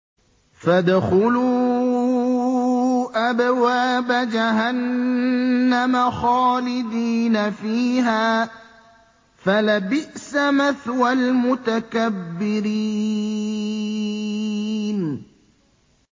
فَادْخُلُوا أَبْوَابَ جَهَنَّمَ خَالِدِينَ فِيهَا ۖ فَلَبِئْسَ مَثْوَى الْمُتَكَبِّرِينَ